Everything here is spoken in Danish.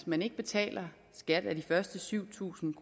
man ikke betaler skat af de første syv tusind